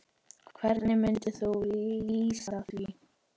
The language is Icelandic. Hvernig myndir þú lýsa því?